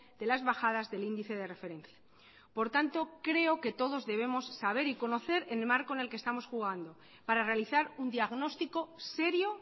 de las bajadas del índice de referencia por tanto creo que todos debemos saber y conocer en el marco en el que estamos jugando para realizar un diagnóstico serio